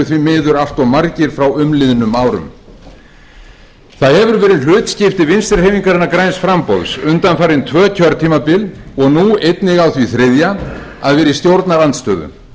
því miður allt of margir frá umliðnum árum það hefur verið hlutskipti vinstri hreyfingarinnar græns framboðs undanfarin tvö kjörtímabil og nú einnig á því þriðja að vera í stjórnarandstöðu